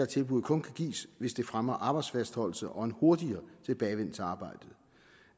tilbuddet kun kan gives hvis det fremmer arbejdsfastholdelse og en hurtigere tilbagevenden til arbejdet